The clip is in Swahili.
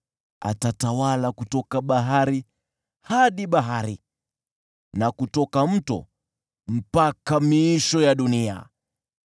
Atatawala kutoka bahari hadi bahari na kutoka Mto mpaka miisho ya dunia.